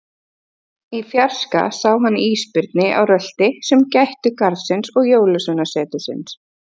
Í fjarska sá hann ísbirni á rölti sem gættu garðsins og Jólasveinasetursins.